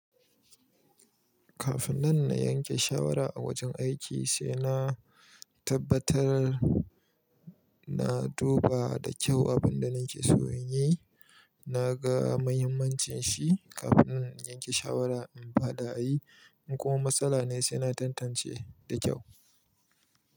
Kafin nan na yanke shawara a wajen aiki, sai na tabbatar na duba da kyau abin da nake so in yi, na ga muhimmancin shi. Kafin in yanke shawara, in faɗa a yi, in kuma matsala ne, sai na tantance da kyau.